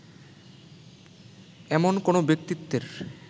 এমন কোনো ব্যক্তিত্বের